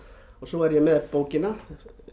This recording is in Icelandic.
svo er ég með bókina